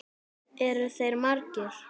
Eru þeir margir?